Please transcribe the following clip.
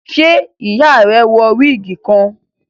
ṣe iya rẹ wọ wigi kan?